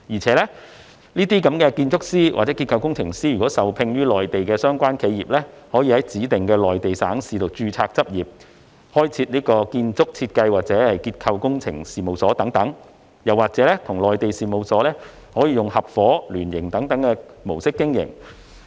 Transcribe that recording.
此外，該等建築師和結構工程師如受聘於內地的相關企業，可以在指定的內地省市註冊執業、開設建築設計或結構工程等事務所，或與內地事務所以合夥或聯營等模式經營。